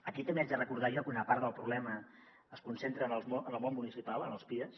aquí també haig de recordar jo que una part del problema es concentra en el món municipal en els pies